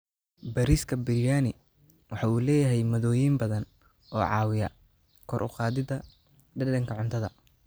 Bariiska Biryani waxa uu leeyahay maaddooyin badan oo caawiya kor u qaadida dhadhanka cuntada.